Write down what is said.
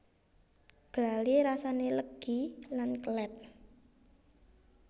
Glali rasane legi lan kelet